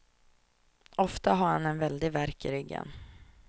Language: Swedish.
Ofta har han en väldig värk i ryggen.